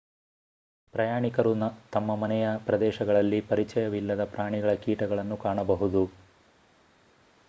ಪ್ರಯಾಣಿಕರು ತಮ್ಮ ಮನೆಯ ಪ್ರದೇಶಗಳಲ್ಲಿ ಪರಿಚಯವಿಲ್ಲದ ಪ್ರಾಣಿಗಳ ಕೀಟಗಳನ್ನು ಕಾಣಬಹುದು